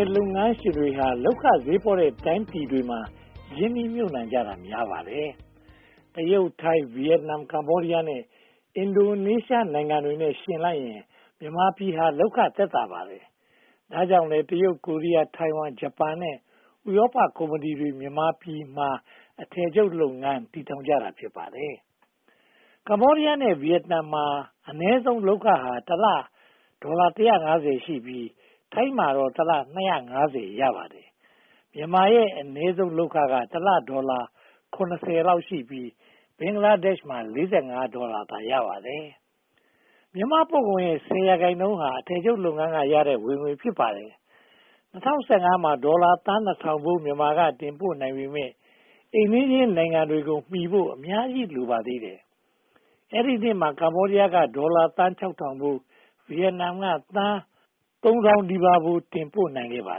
ပ် လုပ်ငန်းရှင်တွေဟာ လုပ်ခဈေးပေါတဲ့ တိုင်းပြည်တွေမှာ ရင်းနှီးမြှုပ်နံှတာများပါတယ်။ တရုတ်၊ ထိုင်း၊ ဗိယက်နမ်၊ ကမ္ဘောဒီယား နဲ့ အင်ဒိုနေရှားနိုင်ငံတွေနဲ့ ယှဉ်လိုက်ရင် မြန်မာပြည်ဟာ လုပ်ခသက်သာပါတယ်။ ဒါကြောင့်လဲ တရုတ်၊ ကိုရီးယား၊ ထိုင်ဝမ်၊ ဂျပန် နဲ့ ဥရောပကုမ္ပဏီတွေ မြန်မာပြည်မှာ အထည်ချုပ်လုပ်ငန်း တည်ထောင်ထားကြတာ ဖြစ်ပါတယ်။ ကမ္ဘောဒီယား နဲ့ ဗိယက်နမ်မှာ အနည်းဆုံးလုပ်ခဟာ တလ ဒေါ်လာ ရှိပြီး၊ ထိုင်းမှာတော့ တလ ရပါတယ်။ မြန်မာရဲ့ အနည်းဆုံးလုပ်ခက တလ ဒေါ်လာ လောက်ရှိပြီး ဘင်္ဂလားဒေ့ရှ်မှာ ဒေါ်လာသာ ရပါတယ်။ မြန်မာပို့ကုန်ရဲ့ ရာခိုင်နှုန်းဟာ အထည်ချုပ်လုပ်ငန်းကရတဲ့ ဝင်ငွေ ဖြစ်ပါတယ်။ ၂၀၁၅ မှာ ဒေါ်လာသန်း ဖိုး မြန်မာက တင်ပို့နိုင်ပေမယ့် အိမ်နီးချင်းနိုင်ငံတွေကိုမီဖို့ အများကြီးလိုပါသေးတယ်။ အဲဒီနှစ်မှာ ကမ္ဘောဒီယားက ဒေါ်လာသန်း ဖိုး၊ ဗိယက်နမ်က သန်း ဖိုး တင်ပို့နိုင်ခဲ့ပါ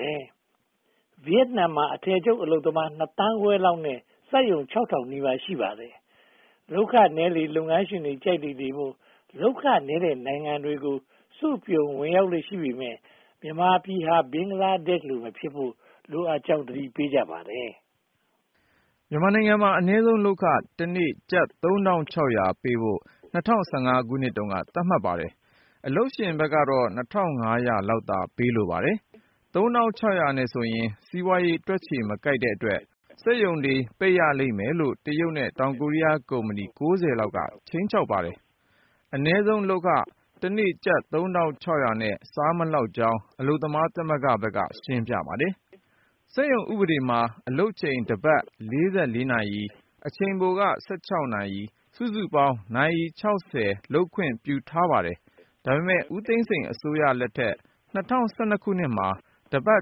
တယ်။ ဗိယက်နမ်မှာ အထည်ချုပ်အလုပ်သမား သန်းခွဲလောက်နဲ့ စက်ရုံ နီးပါး ရှိပါတယ်။ လုပ်ခနည်းလေလေ လုပ်ငန်းရှင်တွေက ကြိုက်လေလေမို့ လုပ်ခနည်းတဲ့ နိုင်ငံတွေကို စုပြုံဝင်ရောက်လေ့ ရှိပေမယ့် မြန်မာဟာ ဘင်္ဂလားဒေ့ရှ်လို မဖြစ်ဖို့လိုကြောင်း သတိပေးကြပါတယ်။ မြန်မာမှာ အနည်းဆုံးလုပ်ခ တနေ့ကျပ် ပေးဖို့ ၂၀၁၅ က သတ်မှတ်ပါတယ်။ အလုပ်ရှင်ဘက်ကတော့ လောက်သာ ပေးလိုပါတယ်။ ၃၆၀၀ နဲ့ဆိုရင် စီးပွားရေးတွက်ချေ မကိုက်တဲ့အတွက် စက်ရုံတွေ ပိတ်ရလိမ့်မယ်လို့ တရုတ် နဲ့ တောင်ကိုရီးယားကုမ္ပဏီ လောက်က ခြိမ်းခြောက်ပါတယ်။ အနည်းဆုံးလုပ်ခ တနေ့ ကျပ် နဲ့ မစားလောက်ကြောင်း အလုပ်သမားသမဂ္ဂဘက်က ရှင်းပြပါတယ်။ စက်ရုံဥပဒေမှာ အလုပ်ချိန် တပတ် နာရီ၊ အချိန်ပိုက နာရီ၊ စုစုပေါင်း နာရီ လုပ်ခွင့်ပြုထားပါတယ်။ ဒါပေမဲ့ ဦးသိန်းစိန်အစိုးရလက်ထက် မှာ တပတ်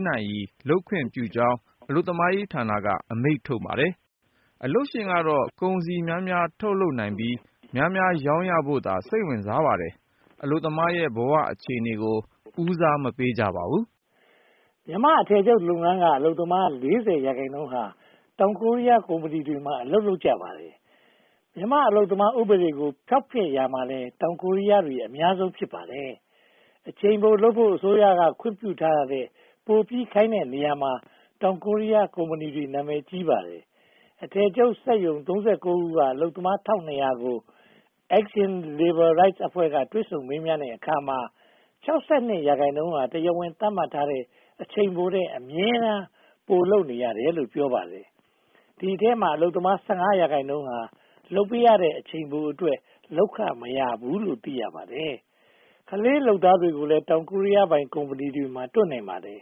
နာရီ လုပ်ခွင့်ပြုကြောင်း အလုပ်သမားဌာနက အမိန့်ထုတ်ပါတယ်။ အလုပ်ရှင်ကတော့ ကုန်စည်များများ ထုတ်လုပ်နိုင်ပြီး များများရောင်းဖို့သာ စိတ်ဝင်စားပါတယ်။ အလုပ်သမားရဲ့ ဘဝအခြေအနေကို ဦးစားမပေးပါဘူး။ မြန်မာ့အထည်ချုပ်လုပ်ငန်းက အလုပ်သမား ရာခိုင်နှုန်းဟာ တောင်ကိုရီးယားနိုင်ငံတွေမှာ အလုပ်လုပ်နေကြပါတယ်။ မြန်မာ့အလုပ်သမားဥပဒေကို ဖောက်ဖျက်ရာမှာလည်း တောင်ကိုရီးယားတွေ အများဆုံး ဖြစ်ပါတယ်။ အချိန်ပိုလုပ်ဖို့ အစိုးရခွင့်ပြုထားတာထက် ပိုပြီးခိုင်းတဲ့နေရာမှာ တောင်ကိုရီးယားကုမ္ပဏီတွေ နာမည်ကြီးပါတယ်။ အထည်ချုပ်စက်ရုံ ခုက အလုပ်သမား ကို Action Labor Rights အဖွဲ့က တွေ့ဆုံမေးမြန်းတဲ့အခါမှာ ရာခိုင်နှုန်းဟာ တရားဝင်သတ်မှတ်ထားတဲ့ အချိန်ပိုထက် အမြဲတမ်း ပိုလုပ်ရတယ်လို့ ပြောပါတယ်။ ဒီအထဲမှာ အလုပ်သမား ရာခိုင်နှုန်းဟာ လုပ်ပေးရတဲ့ အချိန်ပိုအတွက် လုပ်ခမရဘူးလို့ သိရပါတယ်။ ကလေးလုပ်သားတွေကိုလည်း တောင်ကိုရီးယားပိုင် ကုမ္ပဏီတွေမှာ တွေ့နိုင်ပါတယ်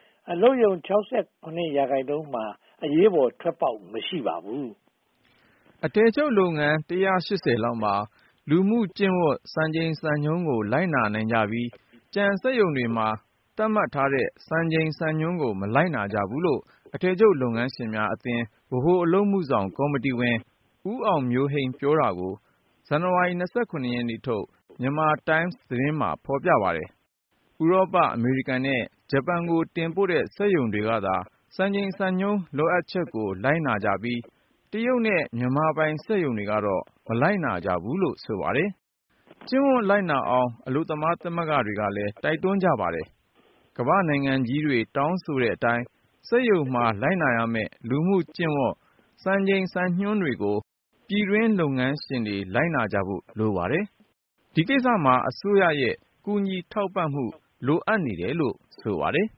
။ အလုပ်ရုံ ရာခိုင်နှုန်းမှာ အရေးပေါ် ထွက်ပေါက်မရှိပါဘူး။ အထည်ချုပ်လုပ်ငန်း လောက်မှာသာ လူမှု့ကျင့်ဝတ် စံချိန်စံညွှန်းကို လိုက်နာကြပြီး ကျန်စက်ရုံတွေမှာ သတ်မှတ်ထားတဲ့ စံချိန်စံညွှန်းကို မလိုက်နာကြဘူးလို့ အထည်ချုပ် လုပ်ငန်းရှင်များအသင်း ဗဟိုအလုပ်အမှုဆောင်ကော်မတီဝင် ဦးအောင်မျိုးဟိန်း ပြောတာကို ဇန်နဝါရီလ ရက်နေ့ထုတ် မြန်မာတိုင်းမ်မှာ ဖော်ပြပါတယ်။ ဥရောပ၊ အမေရိကန် နဲ့ ဂျပန်တို့ကို တင်ပို့တဲ့ စက်ရုံတွေကသာ စံချိန်စံညွှန်း လိုအပ်ချက်တွေကို လိုက်နာကြပြီး တရုတ်နဲ့ မြန်မာပိုင် စက်ရုံတွေကတော့ မလိုက်နာကြဘူးလို့ ဆိုပါတယ်။ ကျင့်ဝတ်လိုက်နာအောင် အလုပ်သမားသမဂ္ဂတွေကလည်း တိုက်တွန်းကြပါတယ်။ ကမ္ဘာ့နိုင်ငံကြီးတွေ တောင်းဆိုတဲ့အတိုင်း စက်ရုံမှာ လိုက်နာရမယ့် လူမှုကျင့်ဝတ် စံချိန်စံညွှန်းတွေကို ပြည်တွင်းလုပ်ငန်းရှင်တွေ လိုက်နာကြဖို့ လိုပါတယ်။ ဒီကိစ္စမှာ အစိုးရရဲ့ ကူညီထောက်ပံ့မှု လိုအပ်နေတယ်လို့ ဆိုပါတယ်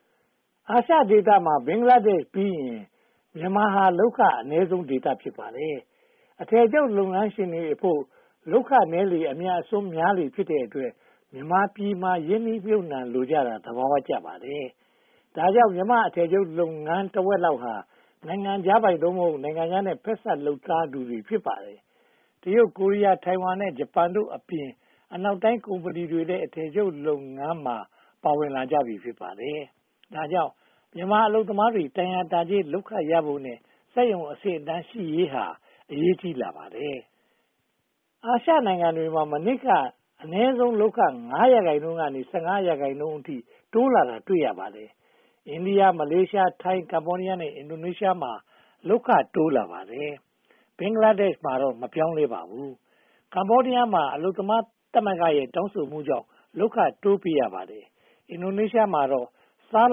။ အာရှဒေသမှာ ဘင်္ဂလားဒေ့ရှ်ပြီးရင် မြန်မာဟာ လုပ်ခအနည်းဆုံးဒေသ ဖြစ်ပါတယ်။ အထည်ချုပ် လုပ်ငန်းရှင်များအဖို့ လုပ်ခနည်းလေ အမြတ်အစွန်းများလေ ဖြစ်တဲ့အတွက် မြန်မာပြည်မှာ ရင်းနှီးမြှုပ်နံှလိုကြတာ သဘာဝကျပါတယ်။ ဒါကြောင့် မြန်မာ့အထည်ချုပ်လုပ်ငန်း တဝက်လောက်ဟာ နိုင်ငံခြားပိုင် နိုင်ငံခြားနဲ့ ဖက်စပ်လုပ်ထားသူတွေ ဖြစ်ပါတယ်။ တရုတ်၊ ကိုရီးယား၊ ထိုင်ဝမ် နဲ့ ဂျပန်တို့အပြင် အနောက်တိုင်းကုမ္ပဏီတွေလည်း အထည်ချုပ်လုပ်ငန်းမှာ ပါဝင်လာကြပြီ ဖြစ်ပါတယ်။ ဒါကြောင့် မြန်မာအလုပ်သမားတွေ တန်ရာတန်ကြေး လုပ်ခရဖို့ စက်ရုံအဆင့်အတန်းရှိရေးဟာ အရေးကြီးပါတယ်။ အာရှနိုင်ငံတွေမှာ မနှစ်က အနည်းဆုံးလုပ်ခ ရာခိုင်နှုန်းကနေ ရာခိုင်နှုန်းအထိ တိုးလာတာ တွေ့ရပါတယ်။ အိန္ဒိယ၊ မလေးရှား၊ ထိုင်း၊ ကမ္ဘောဒီယား နဲ့ အင်ဒိုနေရှားမှာ လုပ်ခတိုးလာပါတယ်။ ဘင်္ဂလားဒေရှ်မှာတော့ မပြောင်းလဲပါဘူး။ ကမ္ဘောဒီယားမှာ အလုပ်သမားသမဂ္ဂရဲ့ တောင်းဆိုမှုကြောင့် လုပ်ခတိုးပေးရပါတယ်။ အင်ဒိုနေရှားမှာတော့ စား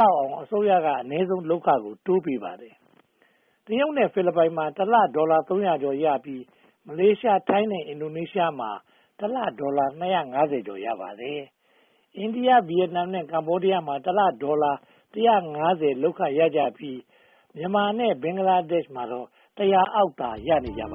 လောက်အောင် အစိုးရက အနည်းဆုံး လုပ်ခကို တိုးပေးပါတယ်။ တရုတ်နဲ့ ဖိလစ်ပိုင်မှာ တလဒေါ်လာ သုံးရာကျော်ရကြပြီး မလေးရှား၊ ထိုင်း၊ နဲ့ အင်ဒိုနေရှားမှာ တလဒေါ်လာ (၂၅၀ ကျော် ရပါတယ်။ အိန္ဒိယ၊ ဗိယက်နမ် နဲ့ ကမ္ဘောဒီယားမှာ တလ ဒေါ်လာ (၁၅၀) လုပ်ခရကြပြီး မြန်မာနဲ့ဘင်္ဂလားဒေ့ရှ်မှာတော့ အောက်သာ ရကြပါ